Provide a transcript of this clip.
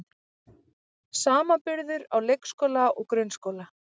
Samanburður á leikskóla og grunnskóla